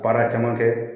Baara caman kɛ